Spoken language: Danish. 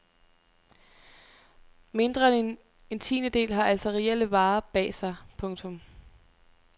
Mindre end en tiendedel har altså reelle varer bag sig. punktum